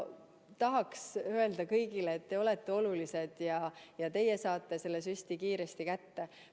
Tahaks öelda kõigile, et te olete olulised ja teie saate selle süsti kiiresti kätte.